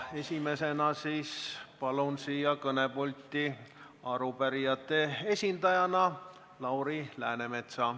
Esimesena palun siia kõnepulti arupärijate esindaja Lauri Läänemetsa.